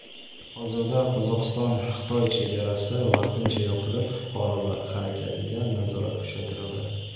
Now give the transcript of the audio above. Hozirda Qozog‘istonXitoy chegarasi vaqtincha yopilib, fuqarolar harakatiga nazorat kuchaytirildi.